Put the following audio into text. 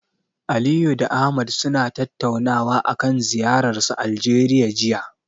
Aliyu da Ahmad suna tattaunawa akan ziyararsu Aljeriya, jiya.